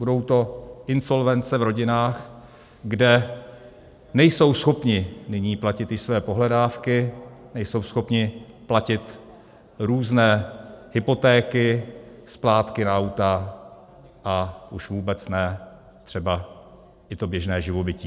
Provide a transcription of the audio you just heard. Budou to insolvence v rodinách, kde nejsou schopni nyní platit již své pohledávky, nejsou schopni platit různé hypotéky, splátky na auta, a už vůbec ne třeba i to běžné živobytí.